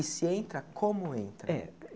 E se entra, como entra? É